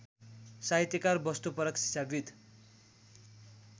साहित्यकार वस्तुपरक शिक्षाविद्